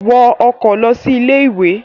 Wọ ọkọ̀ lọ sí ilé-ìwé!